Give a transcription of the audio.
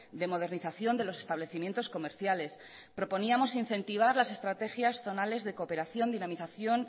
de modernización de los establecimientos comerciales proponíamos incentivar las estrategias zonales de cooperación dinamización